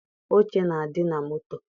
Oche na-adị na moto.